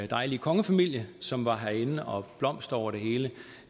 dejlige kongefamilie som var herinde og blomster over det hele